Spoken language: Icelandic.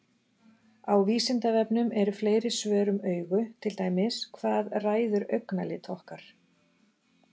Á Vísindavefnum eru fleiri svör um augu, til dæmis: Hvað ræður augnalit okkar?